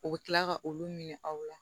U bɛ tila ka olu ɲini aw la